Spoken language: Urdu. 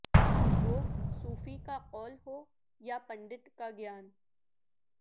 وہ صوفی کا قول ہو یا پنڈت کا گیان